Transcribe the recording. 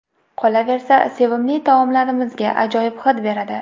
Qolaversa, sevimli taomlarimizga ajoyib hid beradi.